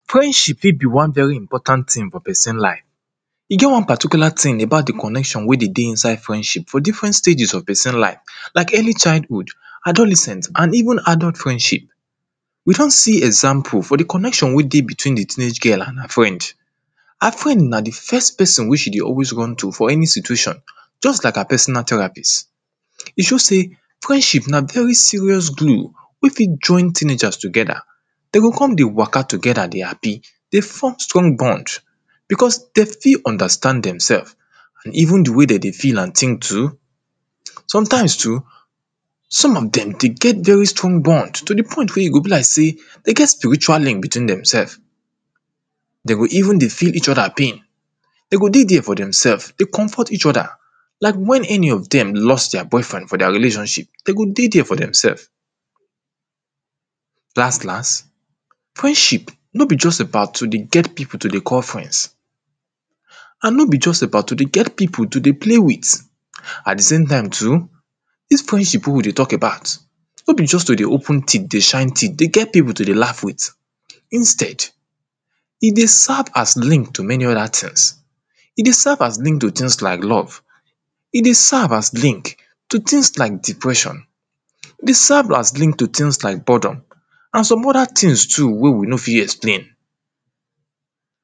friendship fit be one very important thing for person life. E get one particular thing about the connection wey dey dey inside friendship for different stages for person life like early childhood adolescent and even adult friendship. We done see example for the connection wey dey between the teenage girl and her friend. Her friend na the first person wey she dey always run to for any situation. just like her personal therapist, e show sey friendship na very serious glue, wey fit join teenagers together Dem go come dey waka together dey happy dey form strong bond, because dem fit understand themselves. Even the way dem dey feel and think.k too sometimes too, some of dem dey get very strong bond to the point wey e go be like sey dem get spiritual link between themself. sem go even dey feel each other pain. dem go dey there for themselves dey comfort each other, like when any of dem lost their boyfriend for their relationship, dem go dey there for themselfs. Last last, f riendship nor be just about to dey get people to dey call friends, and nor be just about to dey get people to dey play with. At the same too, this friendship wey we dey talk about, nor be just to dey open teeth dey shine teeth dey get people to dey laugh with, instead, e dey serve as link to many other things. E dey serve as link to things like love e dey serve as link to things like depression dey serve as link to things like boredom and some other things too wey we nor fit explain.